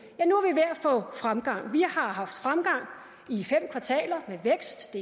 at få fremgang vi har haft fremgang i fem kvartaler med vækst